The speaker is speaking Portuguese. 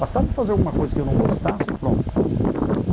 Bastava fazer alguma coisa que eu não gostasse e pronto.